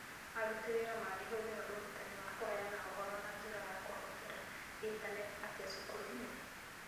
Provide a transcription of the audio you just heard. Aruti Wĩra Mangĩhũthĩra Ũrutani wa Kũheana Ũhoro na Njĩra ya Kũhũthĩra Intaneti Atĩa Cukuru-inĩ?